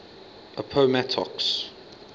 appomattox